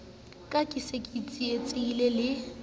ka ke sa tsilatsile le